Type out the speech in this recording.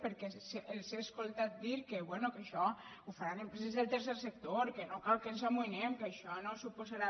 perquè els he escoltat dir que bé que això ho faran empreses del tercer sector que no cal que ens amoïnem que això no suposarà